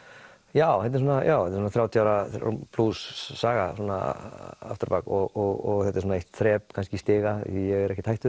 já þetta eru þrjátíu ára plús saga afturábak og þetta er svona eitt þrep kannski í stiga ég er ekkert hættur